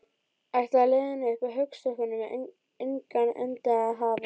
Ætlaði leiðin upp að höggstokknum engan endi að hafa?